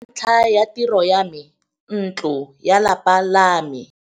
Ka ntlha ya tiro ya me, ntlo ya lapa la me.